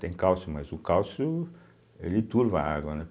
Tem cálcio, mas o cálcio ele turva a água, né.